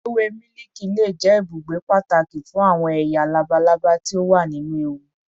Ewe miliki le jẹ ibugbe pataki fun awọn eya labalaba ti o wa ninu ewu